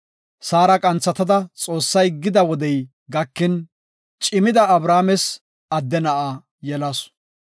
Saara qanthatada Xoossay gida wodey gakin cimida Abrahaames adde na7a yelasu.